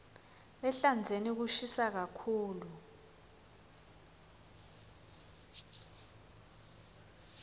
ehlandzeni kushisa kakhulu